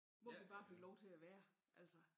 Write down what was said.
Hvor vi bare fik lov til at være altså